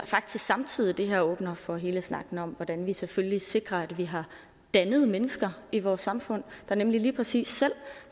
samtidig at det her faktisk åbner for hele snakken om hvordan vi selvfølgelig sikrer at vi har dannede mennesker i vores samfund der nemlig lige præcis selv